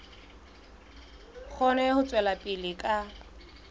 kgone ho tswela pele ka